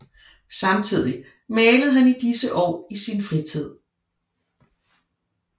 Samtidig malede han i disse år i sin fritid